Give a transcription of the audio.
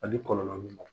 Ani kɔlɔlɔ min ma